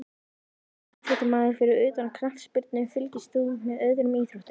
Náttúrulegur íþróttamaður Fyrir utan knattspyrnu, fylgist þú með öðrum íþróttum?